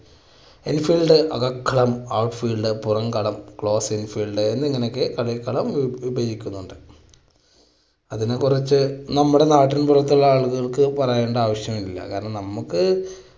in field അകക്കളം out field പുറം കളം closing field എന്നിങ്ങനെയൊക്കെ കളിക്കളം വി~വിഭജിക്കുന്നുണ്ട്. അതിനെ കുറിച്ച് നമ്മുടെ നാട്ടിൻപുറത്തുള്ള ആളുകൾക്ക് പറയേണ്ട ആവശ്യമില്ല കാരണം നമുക്ക്